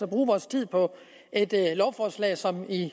bruge vores tid på et lovforslag som i